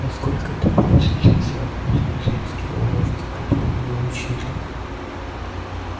насколько это проще чем всевозможные женские уловки которым её учили